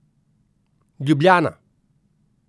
Ljubljana.